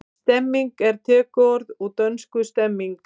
Stemning er tökuorð úr dönsku stemning.